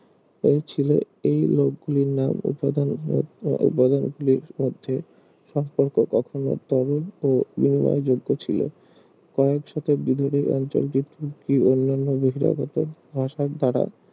এই ছিল এই লোকগুলির নাম উপাদান উপাদান গুলির মধ্যে সম্পর্ক কখনো তরল ও নির্ণয় যোগ্য ছিল কয়েক শতাব্দী ধরে এই অঞ্চলটি তুর্কি অন্যান্য বহিরাগত ভাসার দ্বারা